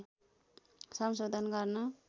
संशोधन गर्न